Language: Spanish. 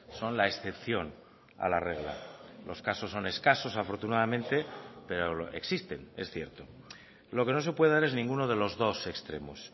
son la excepción a la regla los casos son escasos afortunadamente pero existen es cierto lo que no se puede dar es ninguno de los dos extremos